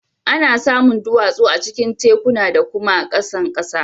Ana samun duwatsu a cikin tekuna da kuma a kan ƙasa.